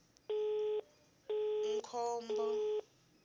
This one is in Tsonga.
mkhombo